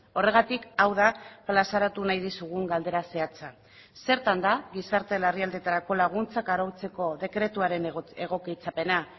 horregatik hau da plazaratu nahi dizugun galdera zehatza zertan da gizarte larrialdietarako laguntzak arautzeko dekretuaren egokitzapena